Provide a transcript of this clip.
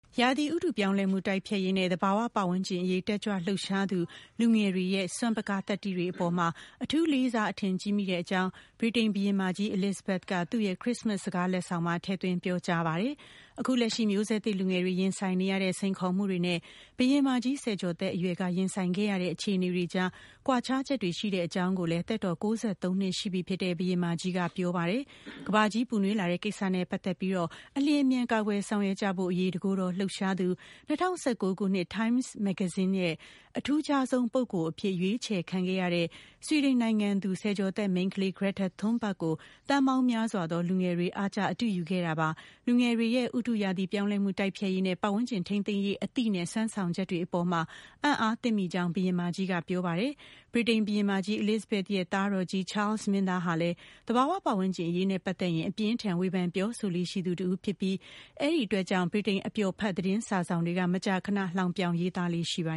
ရာသီဥတုပြောင်းလဲမှု တိုက်ဖျက်ရေးနဲ့ သဘာဝပတ်ဝန်းကျင်အရေး တက်ကြွလှုပ်ရှားသူ လူငယ်တွေရဲ့ စွမ်းပကား၊ သတ္တိတွေအပေါ် အထူးလေးစား အထင်ကြီးမိတဲ့အကြောင်း ဗြိတိန်ဘုရင်မကြီး Elizabeth က သူ့ရဲ့ ခရစ္စမတ်စ် စကားလက်ဆောင်မှာ ထည့်သွင်း ပြောကြားပါတယ်။ အခုလက်ရှိ မျိုးဆက်သစ်လူငယ်တွေ ရင်ဆိုင်နေကြရတဲ့ စိန်ခေါ်မှုတွေနဲ့ ဘုရင်မကြီး ဆယ်ကျော်သက်အရွယ်က ရင်ဆိုင်ခဲ့ရတဲ့ အခြေအနေတွေကြား ကွာခြားချက်တွေ ရှိတဲ့အကြောင်းကိုလည်း သက်တော် ၉၃ နှစ်ရှိပြီဖြစ်တဲ့ ဘုရင်မကြီးက ပြောပါတယ်။ ကမ္ဘာကြီးပူနွေးလာတဲ့ကိစ္စနဲ့ ပတ်သက်ပြီး အလျင်အမြန် ကာကွယ်ဆောင်ရွက်ကြဖို့ အရေး တကိုယ်တော်လှုပ်ရှားသူ ၂၀၁၉ ခုနှစ် Times မဂ္ဂဇင်းရဲ့ အထူးခြားဆုံး ပုဂ္ဂိုလ်အဖြစ် ရွေးချယ်ခံရတဲ့ ဆွီဒင်နိုင်ငံသူ ဆယ်ကျော်သက်မိန်းကလေး Greta Thunberg ကို သန်းပေါင်းများစွာသော လူငယ်တွေ အားကျ အတုယူခဲ့ကြတာပါ။ လူငယ်တွေရဲ့ ဥတုရာသီပြောင်းလဲမှု တိုက်ဖျက်ရေးနဲ့ ပတ်ဝန်းကျင်ထိန်းသိမ်းရေး အသိနဲ့ စွမ်းဆောင်ချက်တွေအပေါ် အံ့အား သင့်မိကြောင်းလည်း ဘုရင်မကြီးကပြောပါတယ်။ ဗြိတိန်ဘုရင်မကြီး Elizabeth ရဲ့ သားတော်ကြီး Charles မင်းသားဟာလည်း သဘာဝပတ်ဝန်းကျင်အရေးနဲ့ပတ်သက်ရင် အပြင်းအထန် ဝေဖန်ပြောဆိုလေ့ရှိသူ တဦးဖြစ်ပြီး အဲဒီအတွက်ကြောင့် ဗြိတိန် အပျော်ဖတ် သတင်းစာစောင်တွေက မကြာခန လှောင်ပြောင်ရေးသားလေ့ရှိပါ